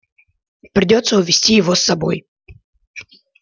придётся увести его с собой